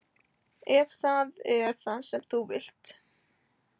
Ef það er það sem þú vilt.